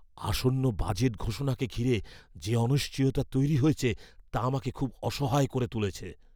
আসন্ন বাজেট ঘোষণাকে ঘিরে যে অনিশ্চয়তা রয়েছে, তা আমাকে খুব অসহায় করে তুলেছে।